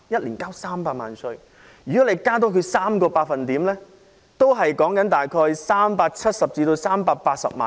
如果他們的薪俸稅增加 3%， 只是約370萬元至380萬元。